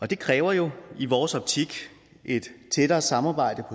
det kræver jo i vores optik et tættere samarbejde